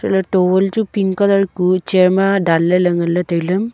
a towel chu pink colour kuh char ma dan le le ngan le taile.